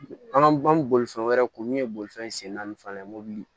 An ka bolifɛn wɛrɛ ko min ye bolifɛn sen naani fana ye mobili